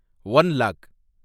one lock